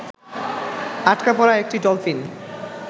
আটকা পড়া একটি ডলফিন